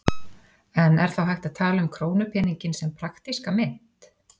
En er þá hægt að tala um krónupeninginn sem praktíska mynt?